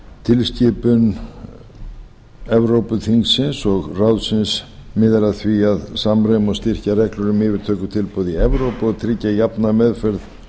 tilskipun evrópuþingsins og evrópuráðsins miðar að því að samræma og styrkja reglur um yfirtökutilboð í evrópu og tryggja jafna meðferð